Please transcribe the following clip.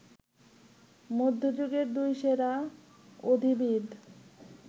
মধ্যযুগের দুই সেরা অধিবিদ